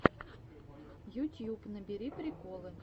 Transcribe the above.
ютьюб набери приколы